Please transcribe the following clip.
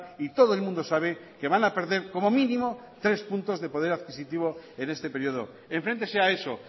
y todo el mundo sabe que van a perder como mínimo tres puntos de poder adquisitivo en este periodo enfréntese a eso